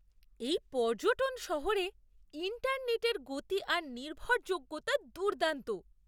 এই পর্যটন শহরে ইন্টারনেটের গতি আর নির্ভরযোগ্যতা দুর্দান্ত।